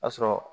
A sɔrɔ